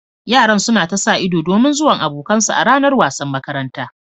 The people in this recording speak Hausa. Yaran suna ta sa ido domin zuwan abokan su a ranar wasan makaranta